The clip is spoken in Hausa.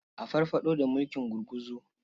A farfaɗo da mulkin gurguzu.